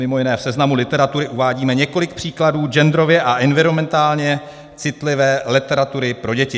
Mimo jiné v seznamu literatury uvádíme několik příkladů genderově a environmentálně citlivé literatury pro děti.